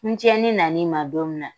Ni cɛnni nan'i ma don min na,